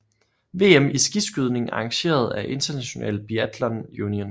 VM i skiskydning arrangeret af International Biathlon Union